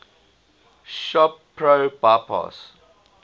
shop pro bypass